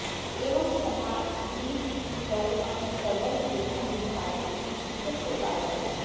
एवं समाधिस्थितौ अपि सर्वं विशुद्धं विभाति इति सूत्रस्य तात्पर्यम्